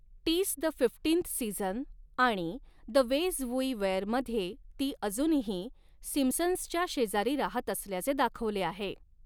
टीस the fifteenth season' आणि 'the ways we वेअर'मध्ये ती अजूनही सिम्प्संसच्या शेजारी राहत असल्याचे दाखवले आहे.